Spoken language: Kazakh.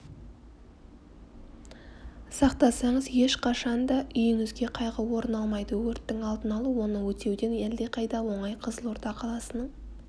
сақтасаңыз ешқашанда үйіңізге қайғы орын алмайды өрттің алдын алу оны өтеуден әлдеқайда оңай қызылорда қаласының